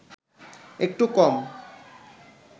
একটু কম